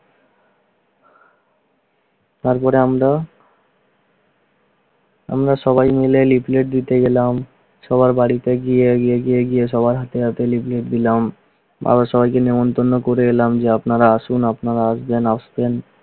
তারপরে আমরা আমরা সবাই মিলে leaflet দিতে গেলাম। সবার বাড়িতে গিয়ে গিয়ে সবার হাতে হাতে leaflet দিলাম। আবার সবাই নিমন্ত্রণ করে এলাম যে, আপনারা আসেন আপনারা আসবেন, আসবেন